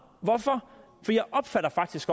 for jeg opfatter faktisk